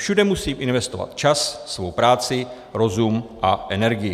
Všude musím investovat čas, svou práci, rozum a energii.